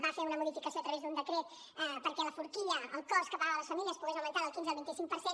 va fer una modificació a través d’un decret perquè la forquilla el cost que pagaven les famílies pogués augmentar del quinze al vint cinc per cent